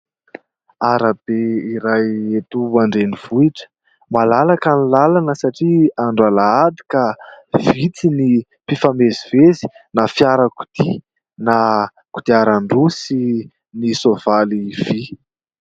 Arabe iray eto an-drenivohitra. Malalaka ny lalana satria andro alahady ka vitsy ny mpifamezivezy, na firakodia na kodiaran-droa sy ny soavaly vy.